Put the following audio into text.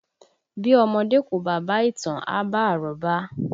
Bí ọmọdé kò bá bá ìtàn, a bá àrọ́bá